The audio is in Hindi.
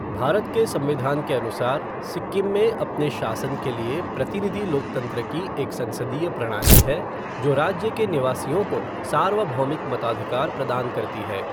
भारत के संविधान के अनुसार, सिक्किम में अपने शासन के लिए प्रतिनिधि लोकतंत्र की एक संसदीय प्रणाली है जो राज्य के निवासियों को सार्वभौमिक मताधिकार प्रदान करती है।